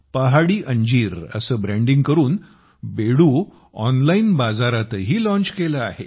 पहाडी अंजीर असे ब्रँडिंग करून बेडू ऑनलाइन बाजारातही लाँच केले आहे